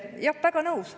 Jah, väga nõus.